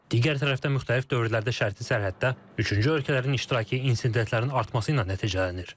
Digər tərəfdən müxtəlif dövrlərdə şərti sərhəddə üçüncü ölkələrin iştirakı insidentlərin artması ilə nəticələnir.